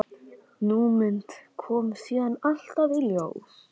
Ný mynd kom síðan alltaf í ljós.